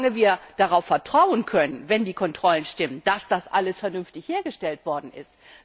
Solange wir darauf vertrauen können wenn die Kontrollen stimmen dass das alles vernünftig hergestellt worden ist.